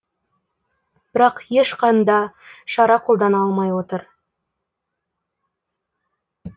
бірақ ешқанда шара қолдана алмай отыр